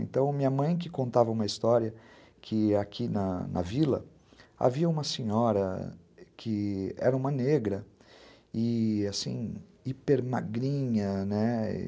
Então, minha mãe que contava uma história que aqui na na vila havia uma senhora que era uma negra e, assim, hipermagrinha, né?